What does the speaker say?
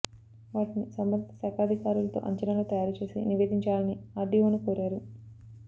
వాటిని సంబంధిత శాఖాధికారులతో అంచనాలు తయారు చేసి నివేదించాలని ఆర్డిఓను కోరారు